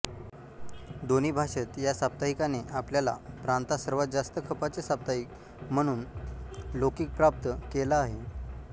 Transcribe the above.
दोन्ही भाषेत ह्या साप्ताहिकाने आपापल्या प्रांतात सर्वात जास्त खपाचे साप्ताहिक म्हणून लौकिक प्राप्त केला आहे